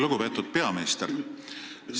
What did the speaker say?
Lugupeetud peaminister!